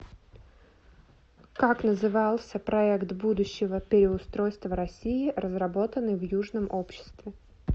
как назывался проект будущего переустройства россии разработанный в южном обществе